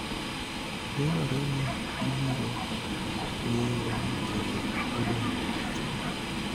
nenore ni gibiro ng�eyo ni kinde odong' machuok.